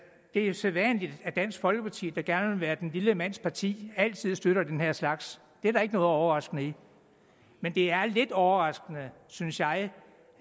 er sædvanligt at dansk folkeparti der gerne vil være den lille mands parti altid støtter den her slags det er der ikke noget overraskende i men det er lidt overraskende synes jeg